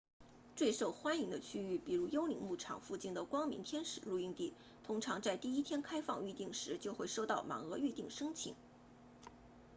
最受欢迎的区域比如幽灵牧场 phantom ranch 附近的光明天使 bright angel 露营地通常在第一天开放预订时就会收到满额预订申请